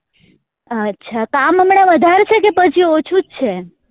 અચ્છા કામ હમણાં વધાર છે કે પછી ઓછું જ છે?